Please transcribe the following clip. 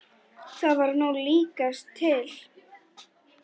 Það var nú líkast til.